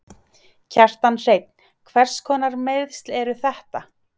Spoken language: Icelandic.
Kjartan Hreinn: Hverskonar meiðsl eru þetta?